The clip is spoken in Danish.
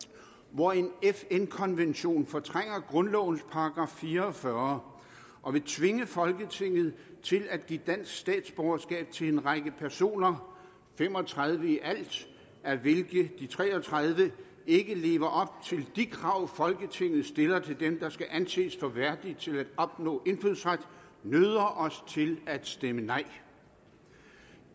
hvor en fn konvention fortrænger grundlovens § fire og fyrre og vil tvinge folketinget til at give dansk statsborgerskab til en række personer fem og tredive i alt af hvilke de tre og tredive ikke lever op til de krav folketinget stiller til dem der skal anses for værdige til at opnå indfødsret nøder os til at stemme nej